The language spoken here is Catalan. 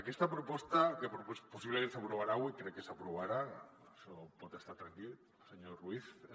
aquesta proposta que possiblement s’aprovarà avui crec que s’aprovarà en això pot estar tranquil senyor ruiz